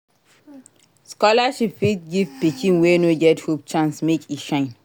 Scholarship fit give pikin wey no get hope chance make e shine.